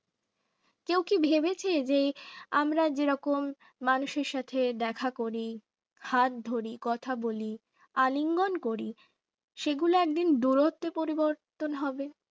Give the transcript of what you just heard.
কেউ কি ভেবেছে যে আমার যেরকম মানুষের সাথে দেখা করি হাত ধরি কথা বলি আলিঙ্গন করি সেগুলো একদিন দূরত্বের পরিবর্তন হবে।